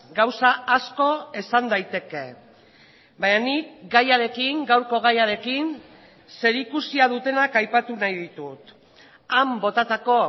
gauza asko esan daiteke baina nik gaiarekin gaurko gaiarekin zerikusia dutenak aipatu nahi ditut han botatako